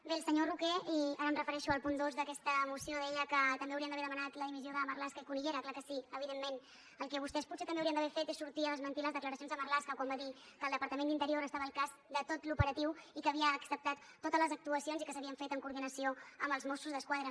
bé el senyor roquer i ara em refereixo al punt dos d’aquesta moció deia que també hauríem d’haver demanat la dimissió de marlaska i cunillera és clar que sí evidentment el que vostès potser també haurien d’haver fet és sortir a desmentir les declaracions de marlaska quan va dir que el departament d’interior estava al cas de tot l’operatiu i que havia acceptat totes les actuacions i que s’havien fet en coordinació amb els mossos d’esquadra